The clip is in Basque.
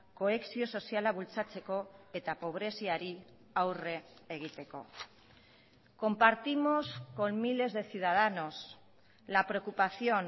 kohesio soziala bultzatzeko eta pobreziari aurre egiteko compartimos con miles de ciudadanos la preocupación